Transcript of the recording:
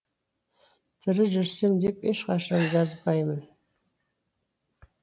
тірі жүрсем деп ешқашан жазбаймын